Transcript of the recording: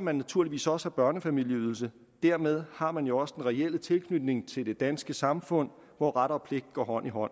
man naturligvis også have børnefamilieydelse dermed har man jo også den reelle tilknytning til det danske samfund hvor ret og pligt går hånd i hånd